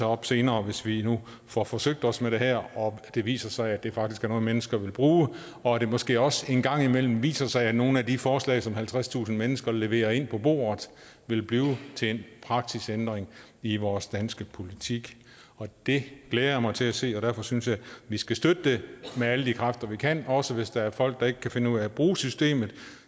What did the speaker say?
op senere hvis vi nu får forsøgt os med det her og det viser sig at det faktisk er noget mennesker vil bruge og at det måske også en gang imellem viser sig at nogle af de forslag som halvtredstusind mennesker leverer ind på bordet vil blive til en praksisændring i vores danske politik det glæder jeg mig til at se og derfor synes jeg vi skal støtte det med alle de kræfter vi kan også hvis der er folk der ikke kan finde ud af at bruge systemet